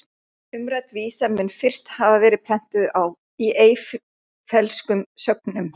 Umrædd vísa mun fyrst hafa verið prentuð í Eyfellskum sögnum